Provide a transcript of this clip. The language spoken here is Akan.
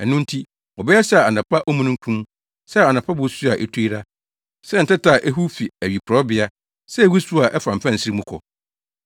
Ɛno nti, wɔbɛyɛ sɛ anɔpa omununkum sɛ anɔpa bosu a etu yera, sɛ ntɛtɛ a ehuw fi awiporowbea sɛ wusiw a ɛfa mfɛnsere mu kɔ.